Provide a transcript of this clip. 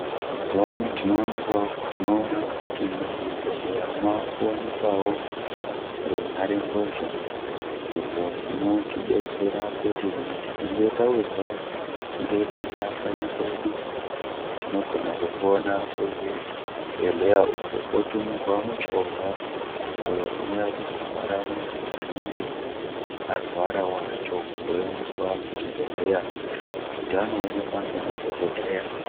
Mazuva ano tino ona kuti mu zvibhedhleya mava ku wanikwawo runhare mbozha izvo zvinoti detsera kuti kana tikange tawirwa nge denda kanyi kwedu tino gona kufona ku zvibhedhleya uko po tumirwa muchovha uyo uno uya kuzo twara muntu anenge arwara wacho wo endeswa ku chibhedhleya kuti ano onekwa nge madhokodheya.